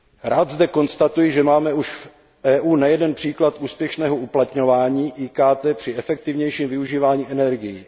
Rád zde konstatuji, že máme už v EU nejeden příklad úspěšného uplatňování IKT při efektivnějším využívání energií.